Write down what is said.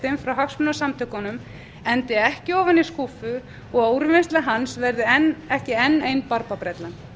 undirskriftalistinn frá hagsmunasamtökunum endi ekki ofan í skúffu og að úrvinnsla hans verði ekki enn ein barbabrellan kannski